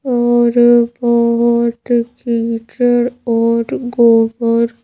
और अ बहुत कीचड़ और गोबर --